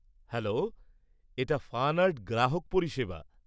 Hello, এটা FunArt গ্রাহক পরিষেবা।